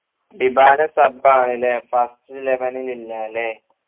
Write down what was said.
ടിബല sub ആണ്ല്ലേ first eleven ഇല്ല അല്ലേ